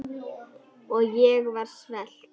Og ég var svelt.